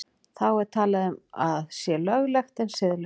Þá er talað um að sé löglegt en siðlaust.